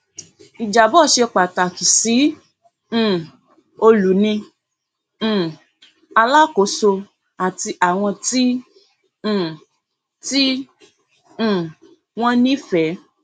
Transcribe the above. ìjábọ ṣe pàtàkì sí um olùní um alákòóso àti àwọn tí um tí um wón nífẹẹ